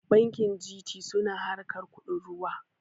Bankin G.T suna harkar kuɗin ruwa